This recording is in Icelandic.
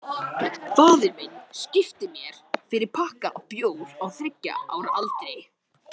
Ég ólst upp í ást.